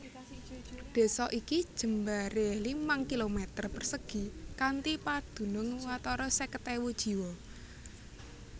Désa iki jembaré limang kilometer persegi kanthi padunung watara seket ewu jiwa